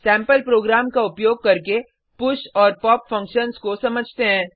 sample programme का उपयोग करके पुश और पॉप फंक्शन्स को समझते हैं